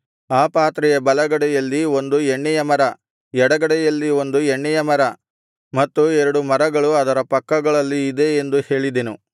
ಆ ಪಾತ್ರೆಯ ಬಲಗಡೆಯಲ್ಲಿ ಒಂದು ಎಣ್ಣೆಯ ಮರ ಎಡಗಡೆಯಲ್ಲಿ ಒಂದು ಎಣ್ಣೆಯ ಮರ ಮತ್ತು ಎರಡು ಮರಗಳು ಅದರ ಪಕ್ಕಗಳಲ್ಲಿ ಇದೆ ಎಂದು ಹೇಳಿದೆನು